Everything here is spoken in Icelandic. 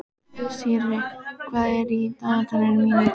Sirrý, hvað er í dagatalinu mínu í dag?